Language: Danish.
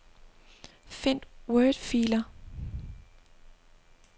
Find wordfiler.